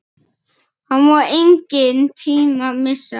Það má engan tíma missa!